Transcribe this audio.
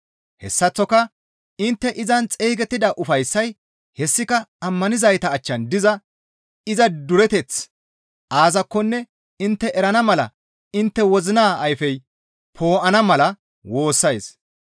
Hessaththoka intte izan xeygettida ufayssay hessika ammanizayta achchan diza iza dureteththi aazakkonne intte erana mala intte wozina ayfey poo7ana mala woossays.